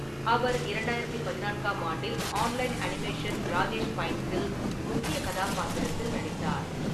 அவர் 2014 ஆம் ஆண்டில் online animation Rajesh ஃபைன்ஸ்ஸில் முக்கிய கதாபாத்திரத்தில் நடித்தார்.